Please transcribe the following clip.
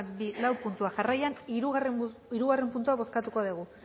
bat bi lau puntuak jarraian hirugarren puntua bozkatuko dugu